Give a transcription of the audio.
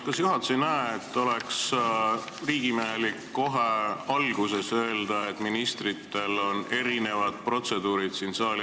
Kas juhatus ei näe, et oleks riigimehelik kohe alguses öelda, et eri ministrite esinemisel siin saali ees kehtib erinev protseduur?